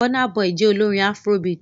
Burna Boy jẹ́ olórin afrobeat.